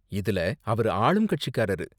இதுல அவரு ஆளுங்கட்சிகாரரு.